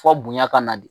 Fɔ bonya ka na de